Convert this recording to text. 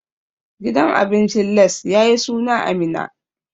Gidan abincin Lace ya yi suna a Minna.